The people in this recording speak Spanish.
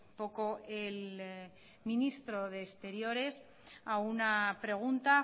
poco el ministro de exteriores a una pregunta